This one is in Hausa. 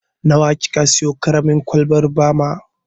Nawa ki ka siyo ƙaramin kwalbar bama?